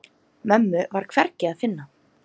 Mömmu var hvergi að finna.